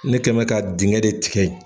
Ne kɛ be ka dengɛn de tigɛ yen